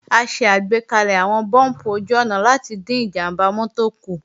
A ṣàgbékalẹ̀ àwọn búùmpù ojú-ọ̀nà láti dín ìjàmbá mọ́tò kù